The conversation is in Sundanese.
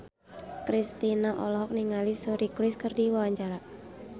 Kristina olohok ningali Suri Cruise keur diwawancara